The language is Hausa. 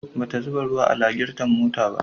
Bata zuba ruwa a lagirton motarta ba.